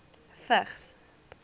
vigs